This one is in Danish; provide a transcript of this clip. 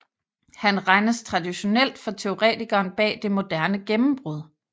Han regnes traditionelt for teoretikeren bag Det Moderne Gennembrud